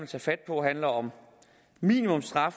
tage fat på handler om